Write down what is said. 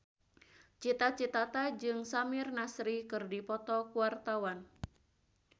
Cita Citata jeung Samir Nasri keur dipoto ku wartawan